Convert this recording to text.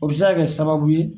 O bi se kaa kɛ sababu ye.